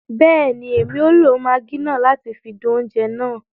Bẹẹni, Èmí o lo Maggi náà láti fi dùn oúnjẹ náà